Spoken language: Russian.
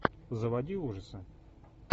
заводи ужасы